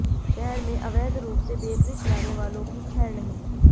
शहर में अवैध रूप से बेकरी चलाने वालों की खैर नहीं